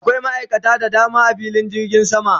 Akwai ma'aikata da dama a filin jirgin sama